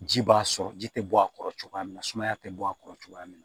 Ji b'a sɔrɔ ji tɛ bɔ a kɔrɔ cogoya min na sumaya tɛ bɔ a kɔrɔ cogoya min na